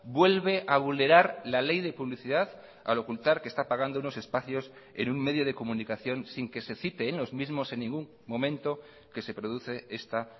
vuelve a vulnerar la ley de publicidad al ocultar que está pagando unos espacios en un medio de comunicación sin que se cite en los mismos en ningún momento que se produce esta